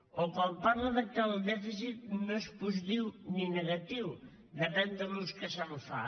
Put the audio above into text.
o quan parla que el dèficit no és positiu ni negatiu depèn de l’ús que se’n fa